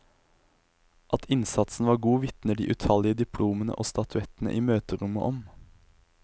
At innsatsen var god, vitner de utallige diplomene og statuettene i møterommet om.